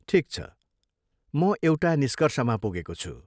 ठिक छ, म एउटा निष्कर्षमा पुगेको छु।